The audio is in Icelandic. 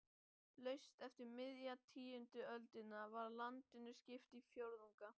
Laust eftir miðja tíundu öldina var landinu skipt í fjórðunga.